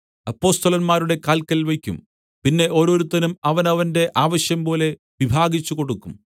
അപ്പൊസ്തലന്മാരുടെ കാൽക്കൽ വെയ്ക്കും പിന്നെ ഓരോരുത്തനും അവനവന്റെ ആവശ്യംപോലെ വിഭാഗിച്ചുകൊടുക്കും